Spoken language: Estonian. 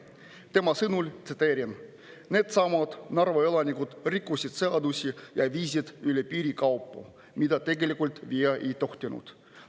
Tema sõnul, tsiteerin: "Needsamad Narva elanikud rikkusid seadusi ja viisid üle piiri kaupu, mida tegelikult viia ei tohtinud.